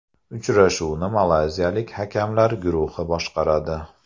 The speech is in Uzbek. Uchrashuvni malayziyalik hakamlar guruhi boshqaradi .